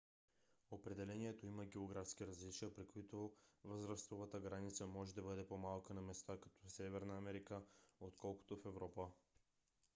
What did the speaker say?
определението има географски различия при които възрастовата граница може да бъде по - малка на места като северна америка отколкото в европа